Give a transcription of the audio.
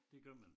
Det gør man